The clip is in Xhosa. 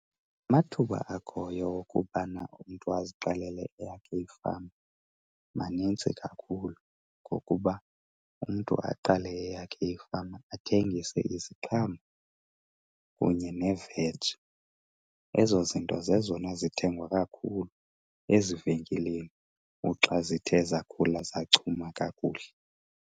Amathuba akhoyo okubana umntu aziqalele eyakhe ifama manintsi kakhulu ngokuba umntu aqale eyakhe ifama athengise iziqhamo kunye neveji. Ezo zinto zezona zithengwa kakhulu ezivenkileni uxa zithe zakhula zachuma kakuhle.